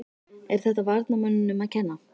Er þetta varnarmönnunum að kenna?